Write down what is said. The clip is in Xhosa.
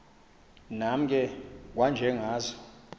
nam ke kwanjengazo